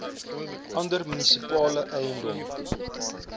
ander munisipale eiendom